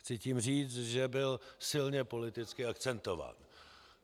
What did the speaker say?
Chci tím říct, že byl silně politicky akcentován.